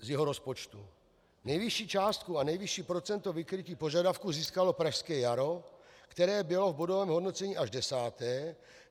Nejvyšší částku a nejvyšší procento vykrytí požadavků získalo Pražské jaro, které bylo v bodovém hodnocení až desáté.